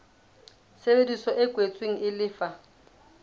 tshebedisano e kwetsweng e lefa